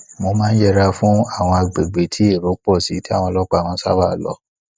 mo máa ń yẹra fún àwọn àgbègbè tí èrò pò sí tí àwọn ọlópàá máa ń sabaa lo